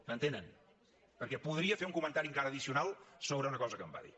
m’entenen perquè podria fer un comentari encara addicional sobre una cosa que em va dir